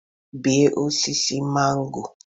bee osisi mango